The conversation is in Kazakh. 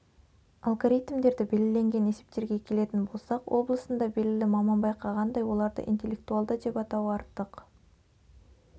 алгоритмдері белгіленген есептерге келетін болсақ облысында белгілі маман байқағандай оларды интеллектуалды деп атау артық